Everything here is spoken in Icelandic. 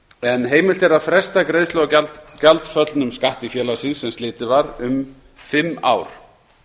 en heimilt er að fresta greiðslu á gjaldföllnum skatti félagsins sem slitið var um fimm ár